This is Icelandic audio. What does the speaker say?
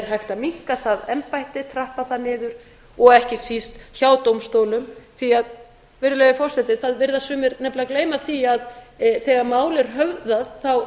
hægt að minnka það embætti trappa það niður og ekki síst hjá dómstólum því að virðulegi forseti það virðast sumir nefnilega gleyma því að þegar mál er höfðað er það